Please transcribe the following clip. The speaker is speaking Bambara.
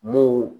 M'o